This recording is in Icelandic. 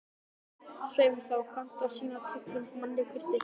Svei mér þá, þú kannt að sýna tignum manni kurteisi